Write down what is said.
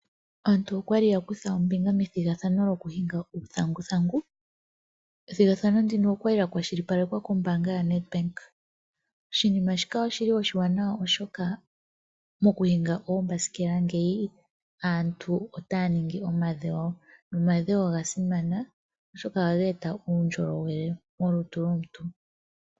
Aantu okwali yakutha ombinga methigathano lyokuhinga uuthanguthangu, ethigathano ndino okwali lya kwashilipalekwa kombaanga ya Ndebank, oshinima shika oshili oshiwaanawa oshoka mokuhinga oombasikela ngeyi aantu otaya ningi omadhewo, nomadhewo oga simana oshoka otaga eta uundjolowele molutu lwomuntu.